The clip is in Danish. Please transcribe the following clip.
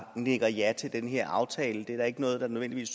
nikker ja til den her aftale det er der ikke nødvendigvis